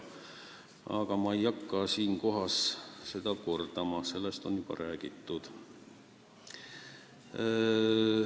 Aga ma ei hakka praegu toimunut veel kord tutvustama, sellest on juba räägitud.